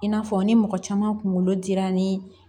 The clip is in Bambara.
I n'a fɔ ni mɔgɔ caman kunkolo dira ni